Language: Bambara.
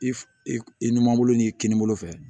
I f i numanbolo ni kinibolo fɛ